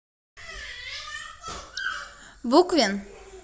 буквин